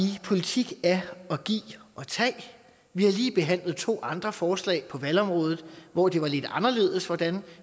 at politik er at give og tage vi har lige behandlet to andre forslag på valgområdet hvor det var lidt anderledes hvordan